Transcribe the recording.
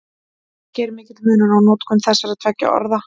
Ekki er mikill munur á notkun þessara tveggja orða.